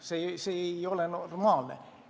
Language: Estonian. See ei ole normaalne olukord.